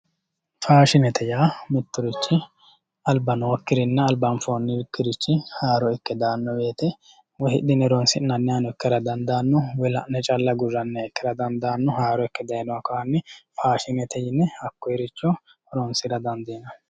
Faashinete yaa mitto richi aliba nookkirinna alibba nookirixhi haroo ikke daanno woyite woyi hidhe horonisi'naniha Ikkara danidaano woyi la'ne calla aguranniha ikkara danidaano Haaro ikke dayinoha kayinni faashinete yine Hakkoye richo horonisira danidiinanni